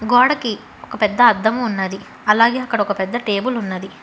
గోడకి ఒక పెద్ద అద్దము ఉన్నది అలాగే అక్కడ ఒక పెద్ద టేబుల్ ఉన్నది.